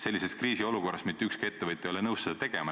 Sellises kriisiolukorras ei ole mitte ükski ettevõtja nõus seda tegema.